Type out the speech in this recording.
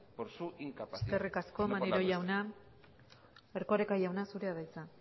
muchas gracias eskerrik asko maneiro jauna erkoreka jauna zurea da hitza